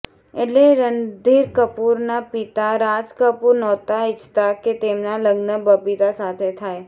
એટલે રણધીર કપૂરના પિતા રાજ કપૂર નહોતા ઇચ્છતા કે તેમના લગ્ન બબીતા સાથે થાય